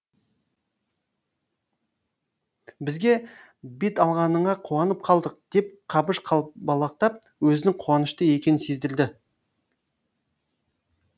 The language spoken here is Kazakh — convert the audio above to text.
бізге бет алғаныңа қуанып қалдық деп қабыш қалбалақтап өзінің қуанышты екенін сездірді